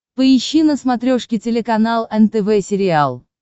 поищи на смотрешке телеканал нтв сериал